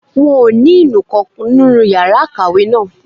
Wọn ò ní inú nǹkan nínú yàrá ìkàwé náà